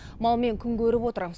малмен күн көріп отыр